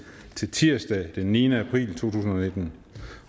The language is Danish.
til tirsdag den niende april to tusind